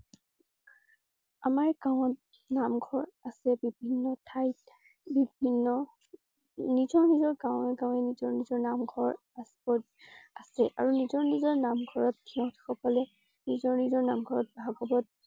আমাৰ গাওঁত নামঘৰ আছে । বিভিন্ন ঠাইত বিভিন্ন, নিজৰ নিজৰ গাওঁৱে গাওঁৱে নিজৰ নিজৰ নামঘৰ আছে~আছে আৰু নিজৰ নিজৰ নামঘৰত সিহঁত সকলে নিজৰ নিজৰ নামঘৰত ভাগৱত